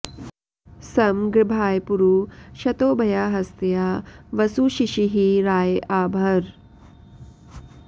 सं गृभाय पुरू शतोभयाहस्त्या वसु शिशीहि राय आ भर